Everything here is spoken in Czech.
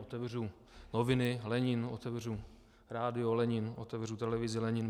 Otevřu noviny - Lenin, otevřu rádio - Lenin, otevřu televizi - Lenin.